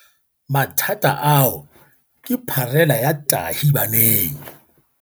Mathata ao ke pharela ya tahibaneng.